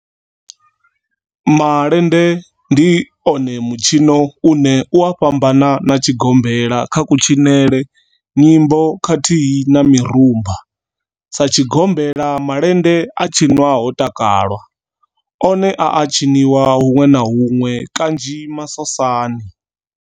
Malende one ndi mitshino une u a fhambana na tshigombela kha kutshinele, nyimbo khathihi na mirumba. Sa tshigombela, malende a tshinwa ho takalwa, one a a tshiniwa hunwe na hunwe kanzhi masosani.